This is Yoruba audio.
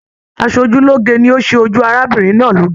Asojuloge ni o se ojú arábìnrin náà loge.